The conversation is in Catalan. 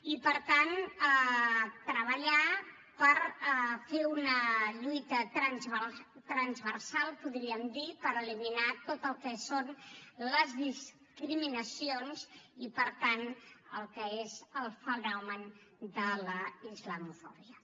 i per tant treballar per fer una lluita transversal podríem dir per eliminar tot el que són les discriminacions i el que és el fenomen de la islamofòbia